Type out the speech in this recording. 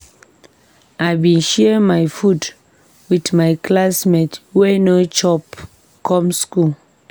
I bin share my food wit my classmate wey no chop come skool.